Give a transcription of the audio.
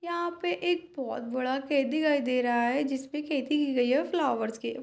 यहां पे एक बोहत बड़ा खेत दिखाई दे रहा है जिसपे खेती की गई है फ्लावर्स की।